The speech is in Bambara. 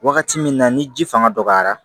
Wagati min na ni ji fanga dɔgɔyara